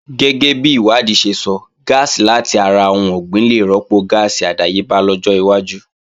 Gẹ́gẹ́bi ìwádìí ṣe sọ, gáàsì làti ara ohun ọ̀gbìn lè rọ́pò gáàsì àdáyébá lọ́jọ́ iwájú